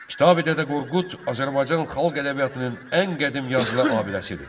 Kitabi Dədə Qorqud Azərbaycan xalq ədəbiyyatının ən qədim yazılı abidəsidir.